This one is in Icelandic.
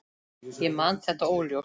Ég man þetta óljóst.